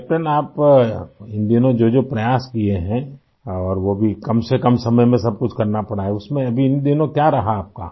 कैप्टेनआप इन दिनों जोजो प्रयास किए हैं और वो भी कम से कम समय में सब कुछ करना पड़ा है आई उसमें अब इन दिनों क्या रहा आपका